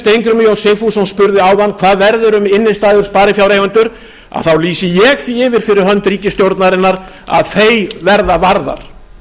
steingrímur j sigfússon spurði áðan hvað verður um innistæður sparifjáreigenda lýsi ég því yfir fyrir hönd ríkisstjórnarinnar að þær verða varðar